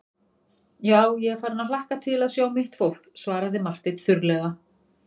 Já, ég er farinn að hlakka til að sjá mitt fólk, svaraði Marteinn þurrlega.